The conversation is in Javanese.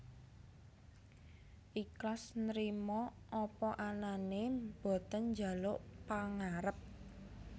Iklas Nrimo apa anane boten njaluk pangarep